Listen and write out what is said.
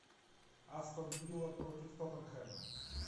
астон вилла против тоттенхэма